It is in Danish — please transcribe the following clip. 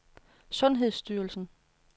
sundhedsstyrelsen